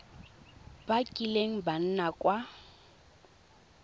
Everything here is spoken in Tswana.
ba kileng ba nna kwa